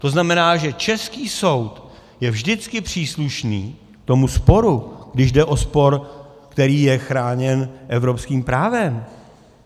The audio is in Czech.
To znamená, že český soud je vždycky příslušný tomu sporu, když jde o spor, který je chráněn evropským právem.